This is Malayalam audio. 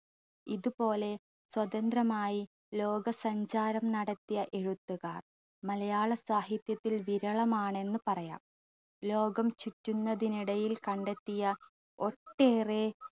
ഇത്പോലെ സ്വതന്ത്രമായി ലോകസഞ്ചാരം നടത്തിയ എഴുത്തുകാർ മലയാള സാഹിത്യത്തിൽ വിരളമാണെന്നു പറയാം ലോകം ചുറ്റുന്നതിനിടയിൽ കണ്ടെത്തിയ ഒട്ടേറെ